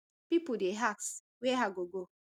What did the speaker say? pipo dey ask wia i go go